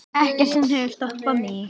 Ekkert sem hefur stoppað mig.